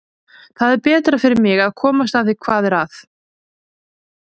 Það er betra fyrir mig að komast að því hvað er að.